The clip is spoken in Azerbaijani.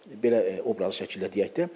Belə obraz şəklində deyək də.